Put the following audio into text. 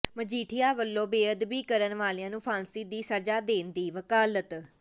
ਮਜੀਠੀਆ ਵੱਲੋਂ ਬੇਅਦਬੀ ਕਰਨ ਵਾਲਿਆ ਨੂੰ ਫਾਂਸ਼ੀ ਦੀ ਸਜਾ ਦੇਣ ਦੀ ਵਕਾਲਤ